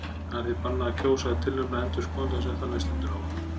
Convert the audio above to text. Það er því bannað að kjósa eða tilnefna endurskoðanda sem þannig stendur á um.